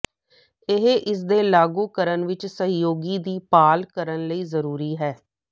ਇਹ ਇਸ ਦੇ ਲਾਗੂ ਕਰਨ ਵਿੱਚ ਸਹਿਯੋਗੀ ਦੀ ਭਾਲ ਕਰਨ ਲਈ ਜ਼ਰੂਰੀ ਹੈ